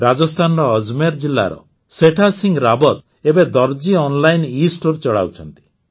ରାଜସ୍ଥାନର ଅଜମେର୍ ଜିଲ୍ଲାର ସେଠା ସିଂହ ରାୱତ ଏବେ ଦର୍ଜି ଅନଲାଇନ ଏ ଷ୍ଟୋର ଚଲାଉଛନ୍ତି